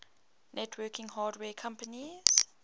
networking hardware companies